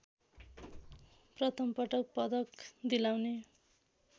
प्रथमपटक पदक दिलाउने